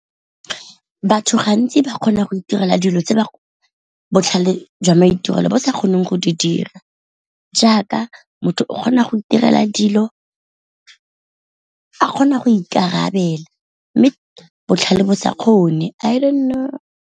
Batho gantsi ba kgona go itirela dilo tse ba botlhale jwa maitirelo bo sa kgoneng go di dira, jaaka motho o kgona go itirela dilo a kgona go ikarabela mme botlhale bo sa kgone I don't know.